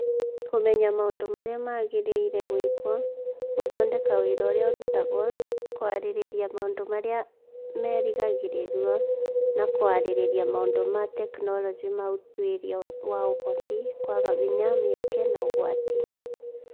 Kũmenya maũndũ marĩa magĩrĩire gwĩkwo, gũthondeka wĩra ũrĩa ũrutagwo, kwarĩrĩria maũndũ marĩa merĩgagĩrĩrũo, na kwarĩrĩria maũndũ ma tekinolonjĩ ma ũtuĩria wa Ũhoti, kwaga hinya, mĩeke, na ũgwati